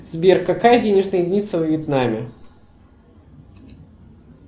сбер какая денежная единица во вьетнаме